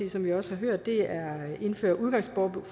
er som vi også har hørt at indføre udgangsforbud